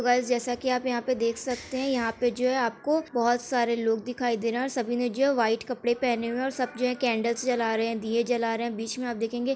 hello guys जैसा कि आप यहाँ पर देख सकते हैं यहाँ पे जो है आपको बहुत सारे लोग दिखाई है सभी ने जो वाइट कपड़े पहने हुए और सब जगह कैंडल्स जला रहे हैं दिए जला रहे हैं बीच में आप देखेंगे --